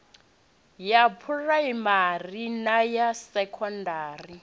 ya phuraimari na ya sekondari